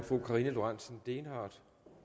fru karina lorentzen dehnhardt